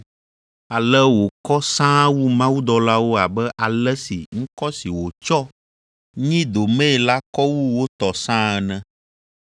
Ale wòkɔ sãa wu mawudɔlawo abe ale si ŋkɔ si wòtsɔ nyi domee la kɔ wu wo tɔ sãa ene.